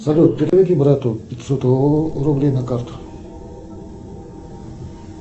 салют переведи брату пятьсот рублей на карту